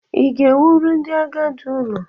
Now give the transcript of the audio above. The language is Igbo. Ị ga-ewuru ndị agadi ụlọ?